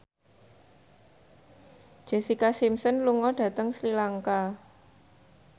Jessica Simpson lunga dhateng Sri Lanka